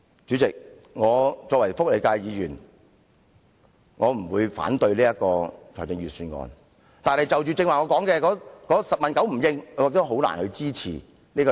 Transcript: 主席，作為福利界議員，我不會反對預算案，但我剛才提到的事宜政府"十問九唔應"，使我難以支持預算案。